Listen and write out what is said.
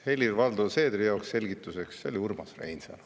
Helir-Valdor Seedrile selgituseks: see oli Urmas Reinsalu.